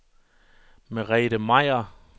Merete Meier